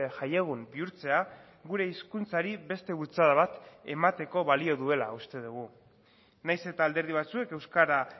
jaiegun bihurtzea gure hizkuntzari beste bultzada bat emateko balio duela uste dugu nahiz eta alderdi batzuek euskara